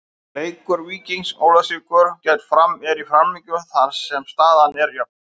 Leikur Víkings Ólafsvíkur gegn Fram er í framlengingu þar sem staðan er jöfn.